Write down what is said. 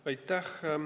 Aitäh!